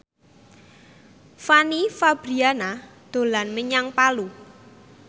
Fanny Fabriana dolan menyang Palu